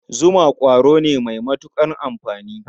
Zuma ƙwaro ne mai matuƙar amfani.